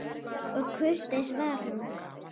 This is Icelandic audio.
Og kurteis var hún.